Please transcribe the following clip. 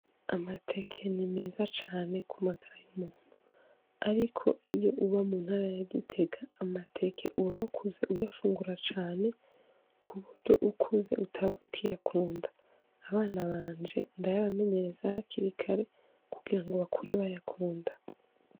Amateke ni meza cane kumagara y'umuntu. Ariko iyo uba muntara ya Gitega amateke uba wakuze uyafungura cane, kuburyo ukuze utaba ukiyakunda. Abana banje ndayabamenyereza hakiri kare kugira ngo bakure bayakunda.